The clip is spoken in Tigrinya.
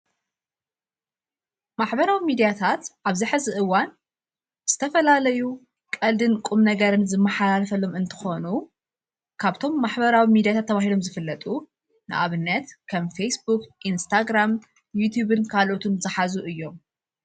ማኅበራዊ ሚዲያታት ኣብዝሐ ዝእዋን ዝተፈላለዩ ቐልድን ቁም ነገርን ዝመሓላልፈሎም እንተኾኑ ካብቶም ማኅበራዊ ሚዲያታት ተብሂሎም ዝፍለጡ ንኣብነት ከም ፌስቡኽ ኢንስታግራም ይትብን ካልኦቱን ዝኃዙ እዮም::